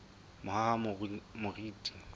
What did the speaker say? mohahamoriti